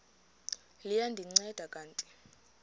liya ndinceda kanti